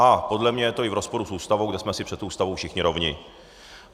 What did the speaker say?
A podle mě to je i v rozporu s Ústavou, kde jsme si před Ústavou všichni rovni.